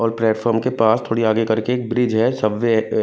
और प्लेटफार्म के पास थोड़े आगे करके एक ब्रिज है सबवे है ए--